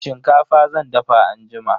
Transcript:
Shinkafa zan dafa anjima.